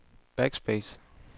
backspace